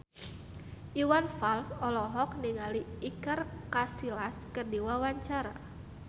Iwan Fals olohok ningali Iker Casillas keur diwawancara